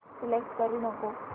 select करू नको